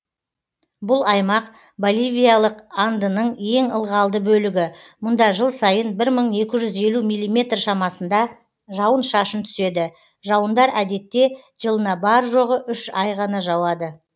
бұл аймақ боливиялық андының ең ылғалды бөлігі мұнда жыл сайын бір мың екі жүз елу миллиметр шамасында жауын шашын түседі жауындар әдетте жылына бар жоғы үш ай ғана жауады